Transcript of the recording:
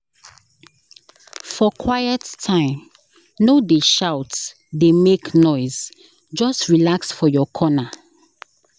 For quiet time, no dey shout dey make noise, just relax for your corner.